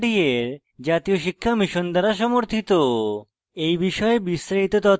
এই বিষয়ে বিস্তারিত তথ্য এই লিঙ্কে প্রাপ্তিসাধ্য